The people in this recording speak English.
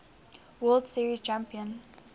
world series champion